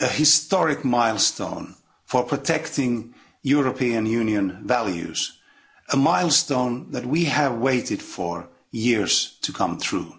a historic milestone for protecting European Union values, a milestone that we have waited for years to come true.